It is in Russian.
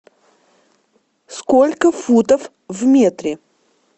сколько футов в метре